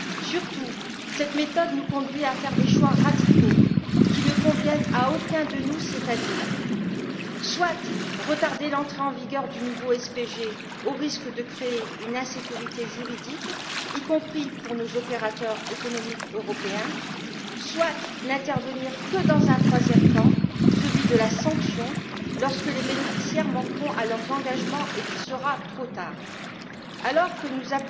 Surtout, cette méthode nous conduit à faire des choix radicaux, qui ne conviennent à aucun de nous, c'est à dire soit retarder l'entrée en vigueur du nouveau SPG, au risque de créer une insécurité juridique, y compris pour nos opérateurs économiques européens, soit n'intervenir que dans un troisième temps, celui de la sanction, lorsque les bénéficiaires manqueront à leurs engagements et qu'il sera trop tard. Alors que nous